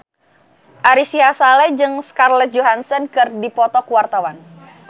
Ari Sihasale jeung Scarlett Johansson keur dipoto ku wartawan